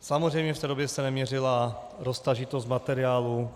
Samozřejmě v té době se neměřila roztažitost materiálu.